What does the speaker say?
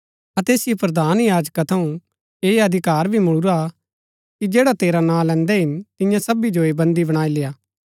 अतै ऐसिओ प्रधान याजका थऊँ ऐह अधिकार भी मुळुरा हा कि जैडा तेरा नां लैन्दै हिन तियां सबी जो ऐह बन्दी बणाई लेय्आ